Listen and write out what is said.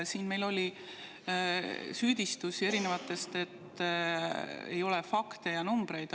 Siin oli erinevaid süüdistusi, et ei ole fakte ja numbreid.